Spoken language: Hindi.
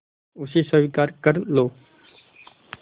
उसे स्वीकार कर लो